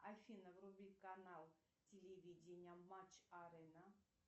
афина вруби канал телевидения матч арена